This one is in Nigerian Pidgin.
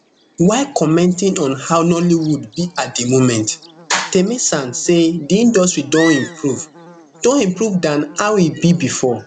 while commenting on how nollywood be at di moment taymesan say di industry don improve don improve dan how e be bifor